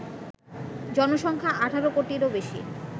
জনসংখ্যা: ১৮ কোটিরও বেশি